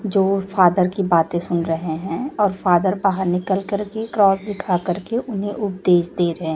जो फादर की बातें सुन रहे हैं और फादर बाहर निकल करके क्रॉस दिखा करके उन्हें उपदेश दे रहे--